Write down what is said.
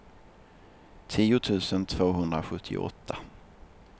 tio tusen tvåhundrasjuttioåtta